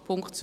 Punkt 2: